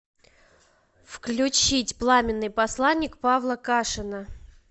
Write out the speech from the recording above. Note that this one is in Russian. включить пламенный посланник павла кашина